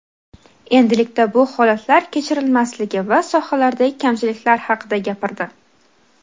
endilikda bu holatlar kechirilmasligi va sohalardagi kamchiliklar haqida gapirdi.